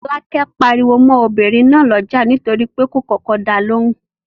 Fọ́lákẹ́ pariwo mọ́ obìnrin náà lọ́jà nítorí pé kò kọ́kọ́ da lóhùn.